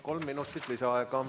Kolm minutit lisaaega.